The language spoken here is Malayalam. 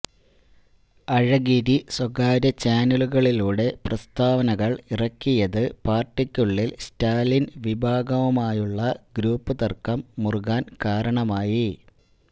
അഴഗിരി സ്വകാര്യ ചാനലുകളിലൂടെ പ്രസ്താവനകള് ഇറക്കിയത് പാര്ട്ടിക്കുള്ളില് സ്റ്റാലിന് വിഭാഗവുമായുള്ള ഗ്രൂപ്പ് തര്ക്കം മുറുകാന് കാരണമായി